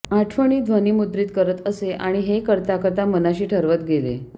आठवणी ध्वनिमुद्रित करत असे आणि हे करता करता मनाशी ठरवत गेले